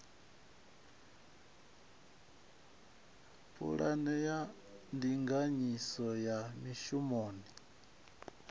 pulane ya ndinganyiso ya mishumoni